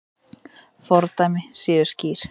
Fordæmi séu skýr.